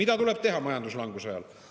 Mida tuleb teha majanduslanguse ajal?